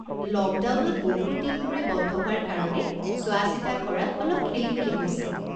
লকডাউনত বহুত দিন ধৰি বন্ধ হোৱাৰ কাৰণে চোৱাচিতা কৰাত অলপ খেলিমেলি হৈছে।